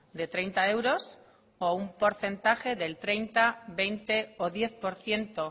de treinta euros o un porcentaje del treinta veinte o diez por ciento